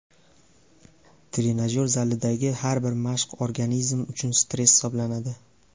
Trenajyor zalidagi har bir mashq organizm uchun stress hisoblanadi.